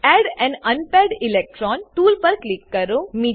add an unpaired electron tool પર click કરો